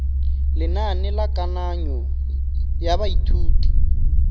lenane la kananyo ya baithuti